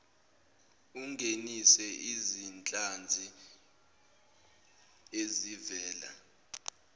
ungenise izinhlanzi ezivela